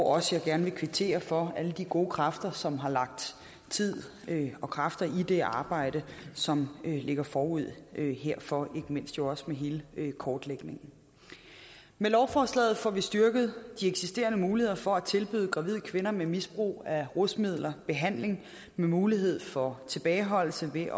også gerne kvittere for alle de gode kræfter som har lagt tid og kræfter i det arbejde som ligger forud herfor ikke mindst jo også med hele kortlægningen med lovforslaget får vi styrket de eksisterende muligheder for at tilbyde gravide kvinder med misbrug af rusmidler behandling med mulighed for tilbageholdelse ved